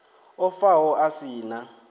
o faho a si na